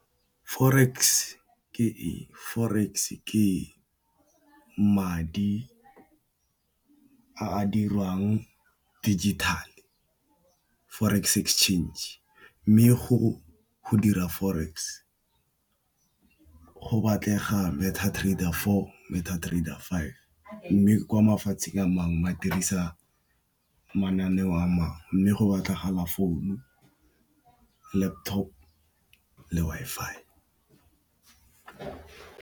Forex ke eng? Forex ke madi a diriwang digital-e, Forex exchange. Mme, go dira Forex go batlega Meta trader four, Meta trader five. Mme, kwa mafatsheng a mangwe ba dirisa mananeo a mang, mme go batlega founu, laptop le Wi-Fi.